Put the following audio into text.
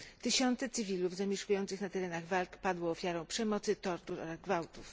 Tysiące cywilów zamieszkujących na terenach walk padło ofiarą przemocy, tortur oraz gwałtów.